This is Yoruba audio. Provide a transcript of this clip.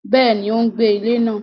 Béèni, o gbé ilé náà